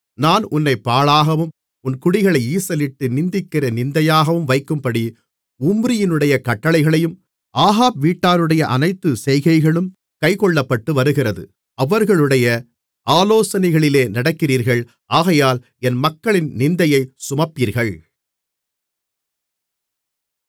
நான் உன்னைப் பாழாகவும் உன் குடிகளை ஈசலிட்டு நிந்திக்கிற நிந்தையாகவும் வைக்கும்படி உம்ரியினுடைய கட்டளைகளும் ஆகாப் வீட்டாருடைய அனைத்துச் செய்கைகளும் கைக்கொள்ளப்பட்டு வருகிறது அவர்களுடைய ஆலோசனைகளிலே நடக்கிறீர்கள் ஆகையால் என் மக்களின் நிந்தையைச் சுமப்பீர்கள்